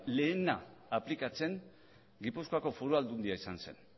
lehena aplikatzen gipuzkoako foru aldundia izan zen